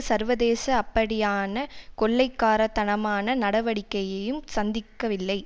சர்வதேச அப்படியான கொள்ளைக்காரத்தனமான நடவடிக்கையையும் சந்திக்கவில்லை